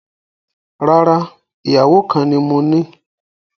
Rárá, ìyàwó kan ni moní